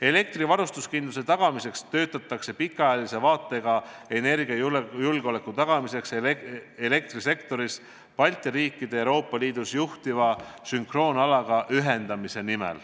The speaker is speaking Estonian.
Elektrivarustuskindluse garanteerimiseks töötatakse pikaajalise vaatega energiajulgeoleku tagamiseks selle nimel, et Balti riigid oleks ühendatud Euroopa Liidus juhitava sünkroonalaga.